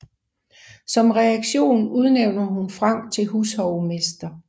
Som reaktion udnævner hun Frank til hushovmester